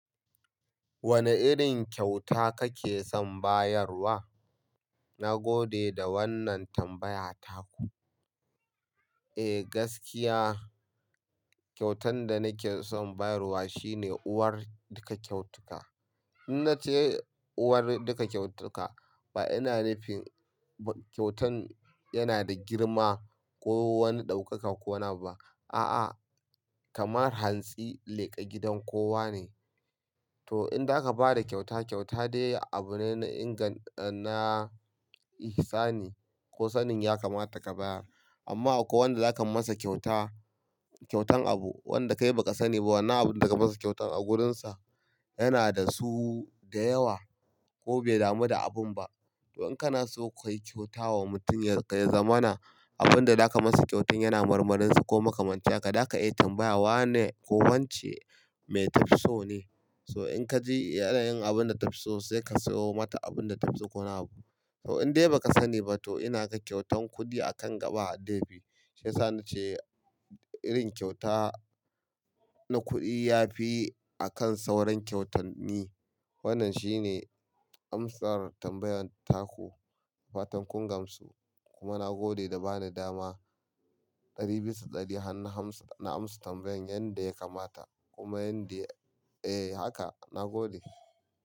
Wane irin kyauta kake son bayarwa? Na gode da wannan tambaya ta ku. Eh gaskiya, kyautan da nake son bayarwa shine uwar duka kyautuka. Ina ce uwar duka kyautuka ba ina nufin kyautan yana da girma ko wani ɗaukaka ko naba. A'a, kamar hantsi leƙa gidan kowa ne. To in za ka ba da kyauta, kyauta dai abu ne na inga, na ihsani ko sanin ya kamata ka bayar. Amma ko wanda zaka masa kyauta, kyautan abu wanda kai ba ka sani ba wanna abun da ka masa kyautan a gurunsa, yana da su da yawa ko bai damu da abun ba. To in kana so ka yi kyauta wa mutum ya zamana, abun da zaka masa kyautan yana marmarinsu ko makamanci haka, da ka iya tambaya wa ne ko wance mai tafso ne. So in ka ji yana yin abun da tafiso sai ka sayo mata abun da tafiso ko wani abu. To in dai ba ka sani ba to ina ka kyautan kuɗi akan gaba hadafi. Shi yasani ce irin kyauta na kuɗi yafi akan sauran kyautan mi. Wannan shine amsar tambayan taku fatan kun gamsu. Kuma na gode da ba ni dama ɗari biyu da ɗari na amsa tambayan yanda ya kamata kuma yanda eh haka na gode.